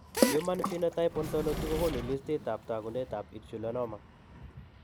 Human phenotype Ontology kokoonu listiitab taakunetaab Insulinoma.